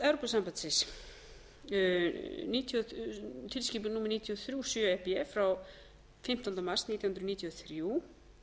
evrópusambandsins tilskipun númer níutíu og þrjú sjö e s b frá fimmtándu mars nítján hundruð níutíu og þrjú